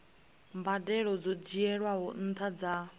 mbadelo dzo dzhielwaho nṱha dza